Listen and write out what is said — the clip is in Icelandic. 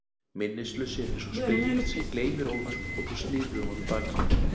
Minnislausir eins og spegill sem gleymir óðar og þú snýrð við honum baki.